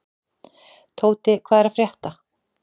Tóti, hvað er að frétta?